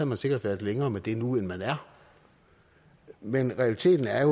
man sikkert været længere med det nu end man er men realiteten er